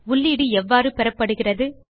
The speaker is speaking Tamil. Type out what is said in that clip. உள்ளீடு எவ்வாறு பெறப்படுகிறது